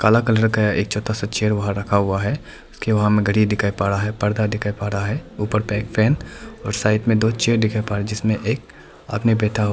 काला कलर का एक छोता सा चेयर वहां रखा हुआ है उसके वहां में घड़ी दिखाई पर रहा है पर्दा दिखाई पर रहा है ऊपर बैक फैन और साइड में दो चेयर दिखाई पर रहा जिसमें एक आदमी बैता हुआ--